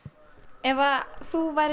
ef þú værir